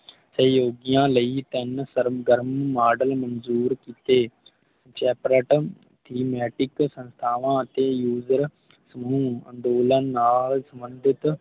ਸਹਿਯੋਗੀਆਂ ਲਈ ਤਿਨ ਸਰਮ ਗਰਮ ਮਾਡਲ ਮੰਜੂਰ ਕੀਤੇ Chapratan Thematic ਸੰਸਥਾਵਾਂ ਅਤੇ User ਨੂੰ ਅੰਦੋਲਨ ਨਾਲ ਸੰਬੰਧਿਤ